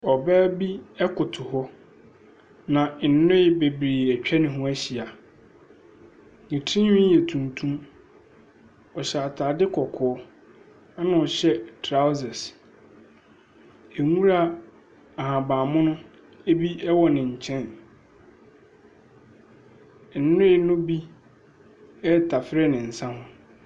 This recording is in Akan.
Ɔbaa bi koto hɔ, na nnoe bebree atwa ne ho ahyia. Ne tirinwi yɛ tuntum. Ɔhyɛ atadeɛ kɔkɔɔ, ɛna ɔhyɛ trousers. Nwura ahabammono bi wɔ ne nkyɛn. Nnoe no bi retafere ne nsa ho.